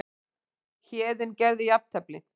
Héðinn gerði jafntefli